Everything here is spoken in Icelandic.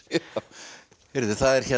það er